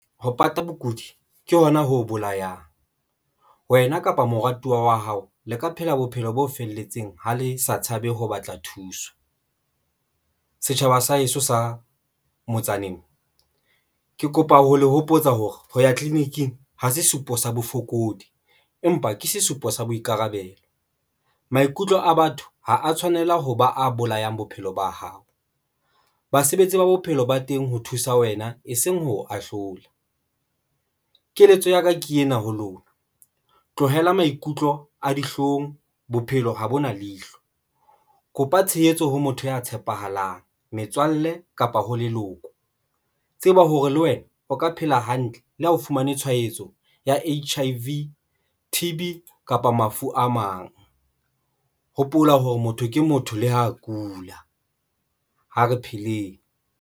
Ho pata bokudi ke hona ho bolayang wena kapa moratuwa wa hao le ka phela bophelo bo felletseng. Ha le sa tshabe ho batla thuso. Setjhaba sa heso sa motsaneng ke kopa ho le hopotsa hore ho ya tleliniking ho sesupo sa bofokodi empa ke sesupo sa boikarabelo. Maikutlo a batho ha a tshwanela ho ba a bolayang bophelo ba hao. Basebetsi ba bophelo ba teng ho thusa wena e seng ho ahlola. Keletso ya ka ke ena ho lona, tlohela maikutlo a dihlong bophelo ho bona leihlo kopa tshehetso ho motho ya tshepahalang, metswalle kapa ho leloko tseba hore le wena o ka phela hantle le ha o fumane tshwaetso ya H_I_V, T_B kapa mafu a mang. Hopola hore motho ke motho le ho kula. Ha re pheleng.